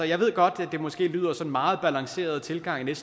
jeg ved godt at det måske lyder som en meget balanceret tilgang jeg